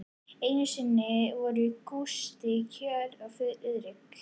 Einu sinni voru Gústi kjöt og Friðrik